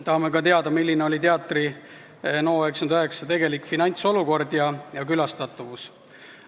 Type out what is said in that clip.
Tahame ka teada, milline oli teatri NO99 tegelik finantsolukord ja külastatavus.